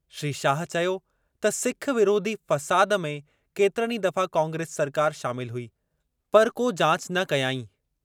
श्री शाह चयो त सिख विरोधी फ़साद में केतरनि ई दफ़ा कांग्रेस सरकार शामिल हुई, पर को जाच न कयाईं।